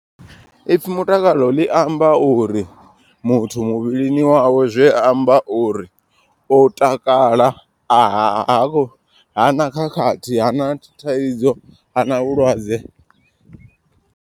Ipfhi mutakalo ḽi amba uri muthu muvhilini wawe zwi amba uri u takala. A ha ha na khakhathi hana thaidzo hana vhulwadze.